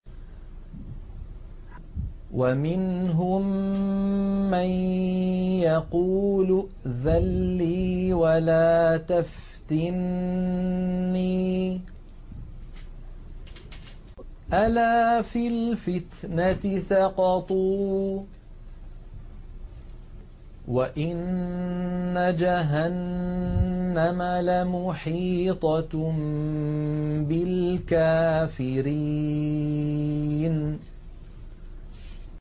وَمِنْهُم مَّن يَقُولُ ائْذَن لِّي وَلَا تَفْتِنِّي ۚ أَلَا فِي الْفِتْنَةِ سَقَطُوا ۗ وَإِنَّ جَهَنَّمَ لَمُحِيطَةٌ بِالْكَافِرِينَ